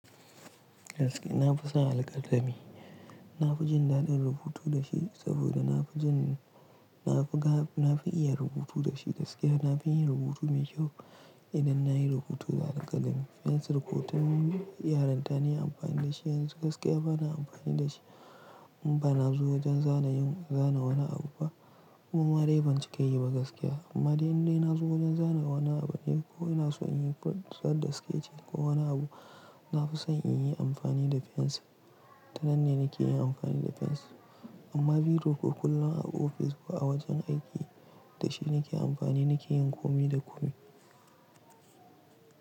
Gaskiya na fi son alkalami. Na fi jin daɗin rubutu da shi saboda na fi iya rubutu da shi gaskiya. Na fi yin rubutu mai kyau idan na yi rubutu da alkalami. Fensir, rubutun yaran ta ne amfani da shi, yanzu gaskiya bana amfani da shi. In bana zuwa wajen zana yin, zana wani abu ba. Noma dai cika yi ba gaskiya. Amma dai in na zo wajen zanayi wani abu ne ko ina so in yi fusar da sikece ko wani abu, na fi son in yi amfani da fens. Dannan ne nake yi amfani da fens. Amma biro koh kullum a ofis ba a wajen aiki, da shi nake amfani nake yin komi da komi.